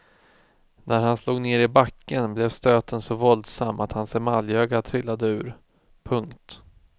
När han slog ner i backen blev stöten så våldsam att hans emaljöga trillade ur. punkt